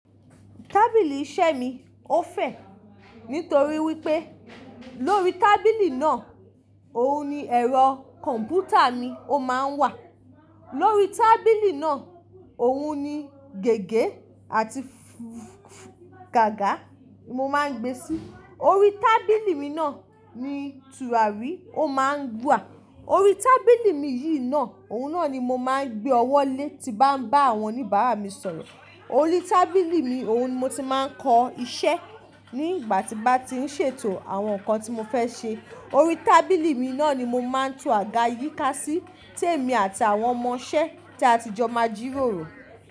Tábìlì iṣẹ́ mi ó fẹ̀, nítorí wípé lórí tábìlì náà, òun ni ẹ̀rọ kọ̀m̀pútà mi ó máa ń wà. Lórí tábìlì náà, òun ni gègé àti f fù f f gága mo máa ń gbé sí. Orí tábìlì mi náà ni tùràrí ò máa ń wà. Orí tábìlì mi yìí náà, òun náà ni mo máa ń gbé ọwọ́ lé tí bá ń bá àwọn oníbàárà mi sọ̀rọ̀. Orí tábìlì mi, òun ni mo ti máa ń kọ iṣẹ́ ní ìgbà tí n bá ti ń ṣètò àwọn nǹkan tí mo fẹ́ ṣe. Orí tábìlì mi náà ni mo máa ń to àga yíká sí tèmi àti àwọn ọmọ-ṣẹ́ tí a ti jọ máa jìròrò.